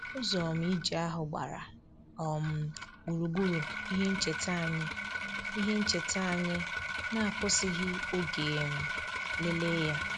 Ụzọ um ije ahụ gbara um gburugburu ihe ncheta anyị ihe ncheta anyị na-akwụsịghị oge um lelee ya